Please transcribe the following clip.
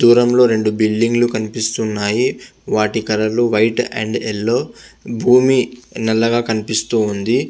దురం లొ రెండు బులిడింగ్ కనిపెస్తునది వకటి కలర్ లొ బూమి నల్లగా కనిపెస్తునది పక్కన కుసమ కలర్ లొ కూడా కనిపెస్తునది.